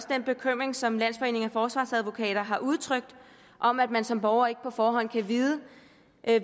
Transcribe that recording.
den bekymring som landsforeningen af forsvarsadvokater har udtrykt om at man som borger ikke på forhånd kan vide